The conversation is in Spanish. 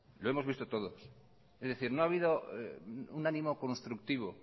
lo hemos visto todos es decir no ha habido un ánimo constructivo